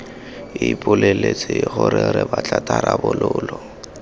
ipoleletse gore re batla tharabololo